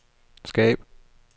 skab